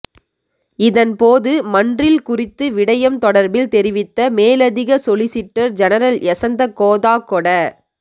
இதன்போது மன்றில் குறித்து விடயம் தொடர்பில் தெரிவித்த மேலதிக சொலிசிட்டர் ஜெனரல் யசந்த கோதாகொட